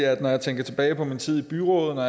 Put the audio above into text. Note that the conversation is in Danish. jeg tænker tilbage på min tid i byrådet og